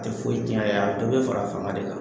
A tɛ foyi tiɲɛ a ye. Dɔ bɛ fara a fanga de kan.